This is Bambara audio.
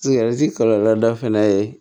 kɔlɔlɔ dɔ fɛnɛ ye